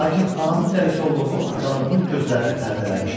Lakin anamın dəlisovluğu atalığımın gözlərini pərdələmişdi.